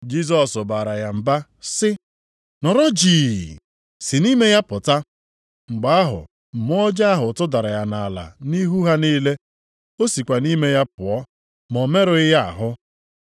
Jisọs baara ya mba sị, “Nọrọ jii! Si nʼime ya pụta.” Mgbe ahụ mmụọ ọjọọ ahụ tụdara ya nʼala nʼihu ha niile, o sikwa nʼime ya pụọ ma o merụghị ya ahụ.